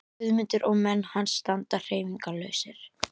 Guðmundur og menn hans standa hreyfingarlausir.